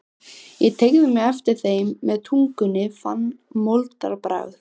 Ég teygði mig eftir þeim með tungunni og fann moldarbragð.